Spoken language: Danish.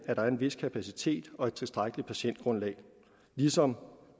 er en vis kapacitet og et tilstrækkeligt patientgrundlag ligesom